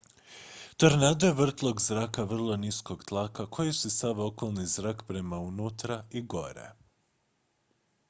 tornado je vrtlog zraka vrlo niskog tlaka koji usisava okolni zrak prema unutra i gore